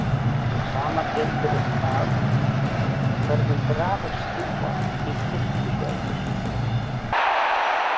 Hið sama gildir um það hvernig grafir snúa í kirkjugörðum.